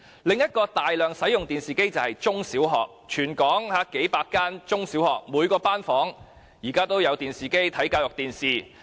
另一個大量使用電視機的地方便是中、小學，因為全港數百間中、小學的每一個班房，均有安裝電視機以供收看教育電視。